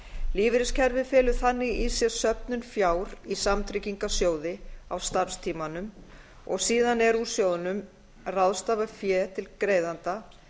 lífeyriskerfið felur þannig í sér söfnun fjár í samtryggingarsjóði á starfstímanum og síðan er úr sjóðnum ráðstafað fé til greiðanda